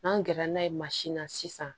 N'an gɛrɛla n'a ye mansin na sisan